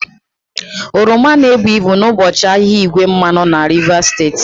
Oroma na-ebu ibu n'ụbọchị ahịa igwe mmanụ na Rivers steeti